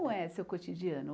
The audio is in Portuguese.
É seu cotidiano?